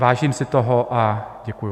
Vážím si toho a děkuji.